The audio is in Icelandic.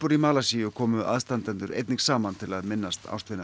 í Malasíu komu aðstandendur einnig saman til að minnast ástvina